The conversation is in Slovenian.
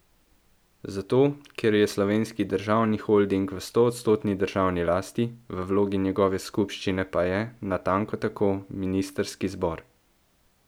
Zato, ker je Slovenski državni holding v stoodstotni državni lasti, v vlogi njegove skupščine pa je, natanko tako, ministrski zbor.